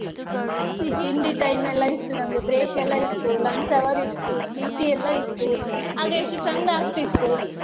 ತಿಂಡಿ time ಎಲ್ಲ ಇತ್ತು, ನಮ್ಗೆ break ಎಲ್ಲ ಇತ್ತು, lunch hour ಇತ್ತು, P.T ಎಲ್ಲ ಇತ್ತು ಆಗ ಎಷ್ಟು ಚಂದಾಗ್ತಿತ್ತು.